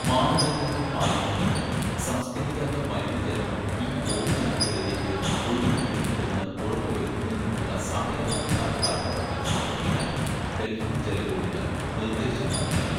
"മാനദണ്ഡങ്ങള്‍ പാലിക്കുന്നതിനും സംസ്‌ക്കരിക്കാത്ത മലിനജലം ഈ ഓവുചാലുകളിലേക്ക് ഒഴുക്കിവിടുന്നില്ലെന്ന് ഉറപ്പുവരുത്തുന്നതിനുമുള്ള സമയബന്ധിത കര്‍മ്മപദ്ധതി സമര്‍പ്പിക്കാന്‍ ഡല്‍ഹി ജലബോഡിന് നിര്‍ദ്ദേശവും നല്‍കി. "